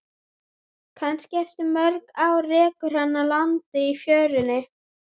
Kannski eftir mörg ár rekur hana að landi í fjörunni.